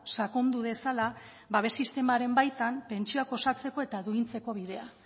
sakondu dezala babes sistemaren baitan pentsioak osatzeko eta duintzeko bidea